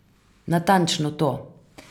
Natančno to!